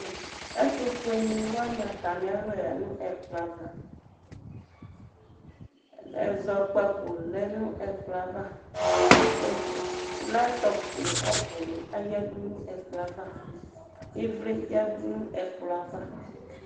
Ɛtʋfueni wani atami aɣla ƴǝ nʋ ɛkplɔ ava, ɛzɔkpako lɛ nʋ ɛkplɔ ava, ɛf light top nʋ kɔpʋni ayǝdʋ nʋ ɛkplɔ yɛ ava, ivli yǝdu nʋ ɛkplɔ ava